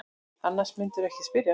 Annars mundirðu ekki spyrja.